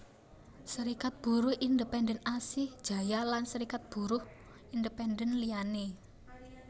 Serikat Buruh Independen Asih Jaya lan Serikat Buruh Independen liyané